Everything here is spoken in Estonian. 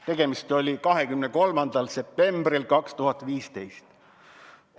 Tegemist oli 23. septembriga 2015.